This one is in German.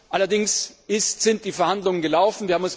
Allerdings sind die Verhandlungen gelaufen.